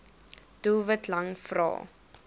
doelwit lang vrae